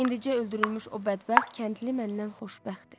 İndicə öldürülmüş o bədbəxt kəndli məndən xoşbəxtdir.